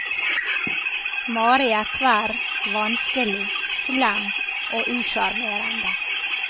Mari er tverr, vanskelig, slem og usjarmerende.